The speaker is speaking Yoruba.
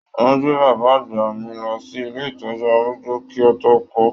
Wọn gbé bàbá àgbà mí lọ sí ilé ìtọjú arúgbó ki o to ku.